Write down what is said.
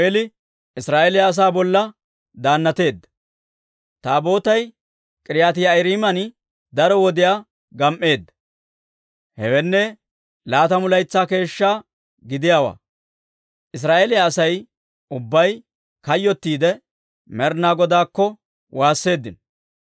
Taabootay K'iiriyaati-Yi'aariiman daro wodiyaa gam"eedda; hewenne, laatamu laytsaa keeshsha gidiyaawaa. Israa'eeliyaa Asay ubbay kayyottiidde, Med'inaa Godaakko waasseeddino.